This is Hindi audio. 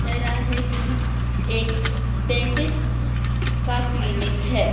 कह रहा है कि एक डेंटिस्ट का क्लीनिक है।